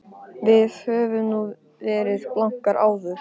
Við höfum nú verið blankar áður.